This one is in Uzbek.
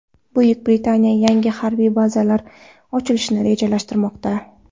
Buyuk Britaniya yangi harbiy bazalar ochilishni rejalashtirmoqda.